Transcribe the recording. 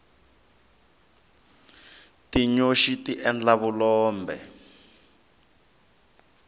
tinyoxi tiendlile vulombe